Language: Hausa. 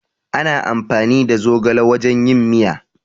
Ana amfani da zogale wajen yin miya